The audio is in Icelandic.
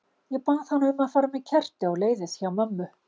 Ég bað hana um að fara með kerti á leiðið hjá mömmu.